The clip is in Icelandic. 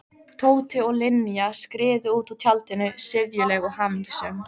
Tóti og Linja skriðu út úr tjaldinu, syfjuleg og hamingjusöm.